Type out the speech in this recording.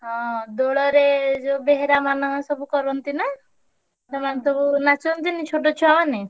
ହଁ ଦୋଳରେ ଯୋଉ ବେହେରା ମାନେ ସବୁ କରନ୍ତି ନା? ସେମାନେ ସବୁ ନାଚନ୍ତିନି ଛୋଟ ଛୁଆମାନେ।